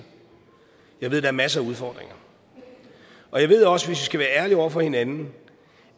jeg ved er masser af udfordringer jeg ved også hvis vi skal være ærlige over for hinanden